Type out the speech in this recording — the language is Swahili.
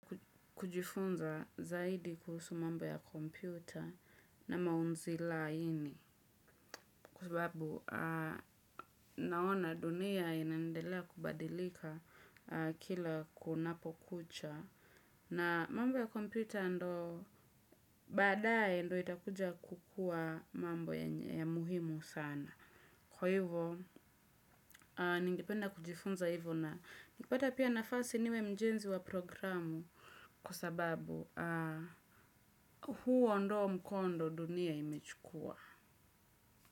Kujifunza zaidi kuhusu mambo ya kompyuta na maunzi laini kwasababu naona dunia inaendelea kubadilika kila kunapokucha. Na mambo ya kompyuta ndo baadae ndo itakuja kukua mambo ya muhimu sana. Kwa hivyo, ningependa kujifunza hivyo na nikipata pia nafasi niwe mjenzi wa programu kwasababu huo ndo mkondo dunia imechukua.